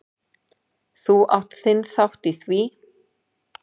Þú átt þinn þátt í því.